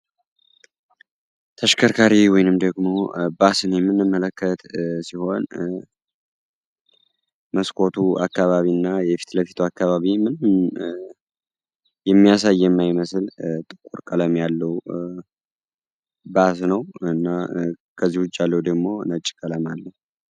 ተሽከርካሪ ወይንም ደግሞ ባስን ምንመለከት ሲሆን መስኮቱ አካባቢ እና የፊት ለፊቱ አካባቢን የሚያሳይ የማይመስል ጥቁር ቀለም ያለው ባስ ነው እና ከዚውጭ ያለው ደግሞ ነጭ ቀለም አለው።